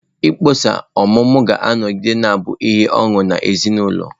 Mkpọsa ọmụmụ ga-anọgide na-abụ ihe ọṅụ nye ezinụlọ.